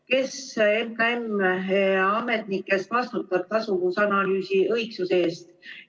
Kes MKM-i ametnikest vastutab tasuvusanalüüsi õigsuse eest?